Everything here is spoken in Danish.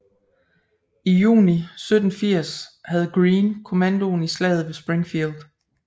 I juni 1780 havde Greene kommandoen i Slaget ved Springfield